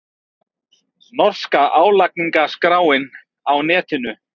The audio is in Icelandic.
Norska álagningarskráin á netinu